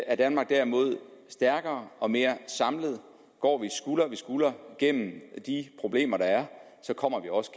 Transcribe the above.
er danmark derimod stærkere og mere samlet går vi skulder ved skulder gennem de problemer der er så kommer vi også